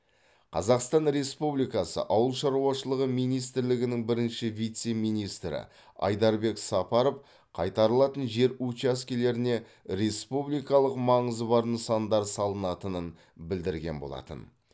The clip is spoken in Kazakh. қазақстан республикасы ауыл шаруашылығы министірлігінің бірінші вице министрі айдарбек сапаров қайтарылатын жер учаскелеріне республикалық маңызы бар нысандар салынатынын білдірген болатын